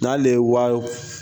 N'ale ye